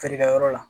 Feere kɛyɔrɔ la